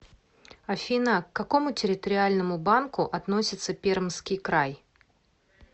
афина к какому территориальному банку относится пермский край